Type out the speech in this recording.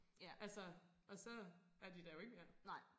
Altså og så er de der jo ikke mere